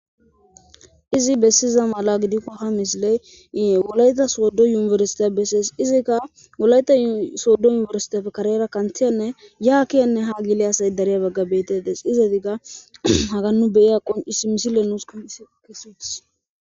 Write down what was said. Izi bessiza mala gidikko ha misiley wolayta sooddo yuniersita bessees izikka wolayta sooddo yuniersitapfe karera kanthiyanne yaakiyanne ha gile asay dareya bagga beetedes izadigga hagannu beyiya qoncis misile nuus kesides